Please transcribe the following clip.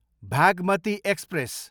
Bhagmati express